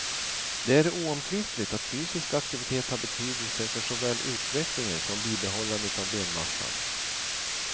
Det är oomtvistligt att fysisk aktivitet har betydelse för såväl utvecklingen som bibehållandet av benmassan.